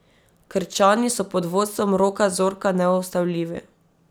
Krčani so pod vodstvom Roka Zorka neustavljivi.